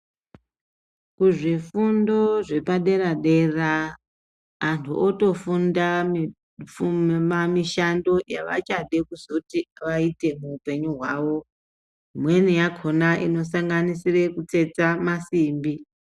Kuzvifundo zvepadera dera antu otofunda mifundo yemamishando yavachazoda vaite muhupenyu hwavo imweni yakona inosanganisira kutsetsa masimbi.